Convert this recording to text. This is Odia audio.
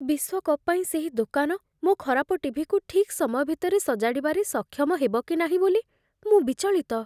ବିଶ୍ୱକପ୍ ପାଇଁ ସେହି ଦୋକାନ ମୋ ଖରାପ ଟି.ଭି.କୁ ଠିକ୍ ସମୟ ଭିତରେ ସଜାଡ଼ିବାରେ ସକ୍ଷମ ହେବ କି ନାହିଁ ବୋଲି ମୁଁ ବିଚଳିତ।